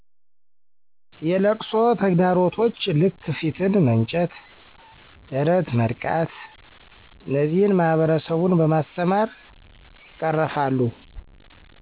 የለቅሶ ተግዳሮቶች ልክ ፊትን መንጨት፣ ደረት መድቃት፣ እነዚህን ማህበረሰቡን በማስተማር ይቀረፋል።